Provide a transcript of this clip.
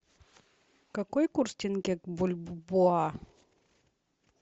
какой курс тенге к бальбоа